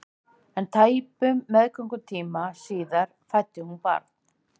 En tæpum meðgöngutíma síðar fæddi hún barn.